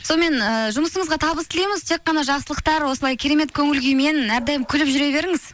сонымен ыыы жұмысыңызға табыс тілейміз тек қана жақсылықтар осылай керемет көңілкүймен әрдайым күліп жүре беріңіз